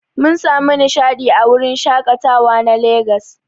Mun samu nishadi a wurin shakatawa na Legas.